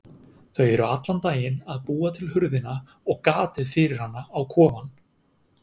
Þau eru allan daginn að búa til hurðina og gatið fyrir hana á kofann.